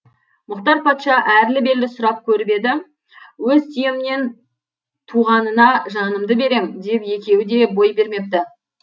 мұхтар патша әрлі берлі сұрап көріп еді өз түйемнен туғанына жанымды берем деп екеуі де бой бермепті